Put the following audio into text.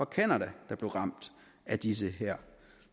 canada der blev ramt af disse